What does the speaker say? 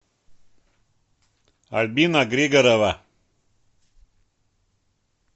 альбина григорова